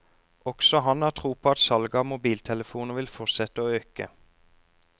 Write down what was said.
Også han har tro på at salget av mobiltelefoner vil fortsette å øke.